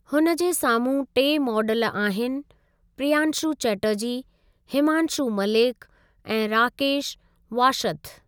हुन जे साम्हूं टे मॉडल आहिनि प्रियांशु चटर्जी, हिमांशू मलिक ऐं राकेश वाशथ।